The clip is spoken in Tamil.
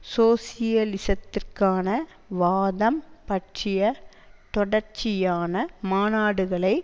சோசியலிசத்திற்கான வாதம் பற்றிய தொடர்ச்சியான மாநாடுகளை